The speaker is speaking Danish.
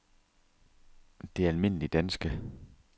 Det Alm. Danske